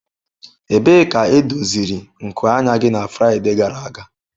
Ebee ka edoziri nku anya gị na Fraịde gara aga?